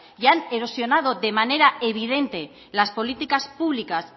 y han erosionado de manera evidente las políticas públicas